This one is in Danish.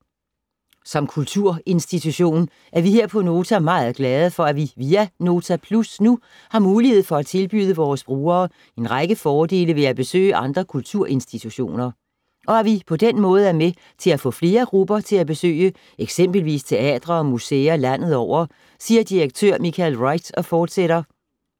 - Som kulturinstitution er vi her på Nota meget glade for, at vi via Nota Plus nu har mulighed for at tilbyde vores brugere en række fordele ved at besøge andre kulturinstitutioner. Og at vi på den måde er med til at få flere grupper til at besøge eksempelvis teatre og museer landet over, siger direktør Michael Wright og fortsætter: